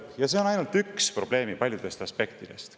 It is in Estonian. Ja see on ainult üks probleemi paljudest aspektidest.